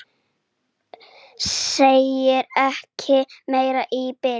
Sagði ekki meira í bili.